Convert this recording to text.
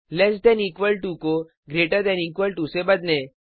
lace than equal to को greater than equal to से बदलें